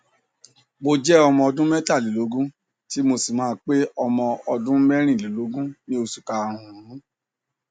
mo jẹ ọmọ ọdún mẹtàlélógún tí mo sì máa pé ọmọ ọdún mẹrìnlélógún ní oṣù karùnún